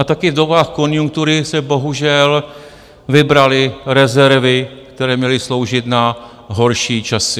A taky v dobách konjunktury se bohužel vybraly rezervy, které měly sloužit na horší časy.